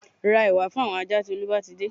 Ra ẹ̀wà fún àwọn ajá tí Olú bá ti dé